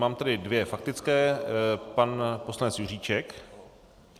Mám tady dvě faktické - pan poslanec Juříček.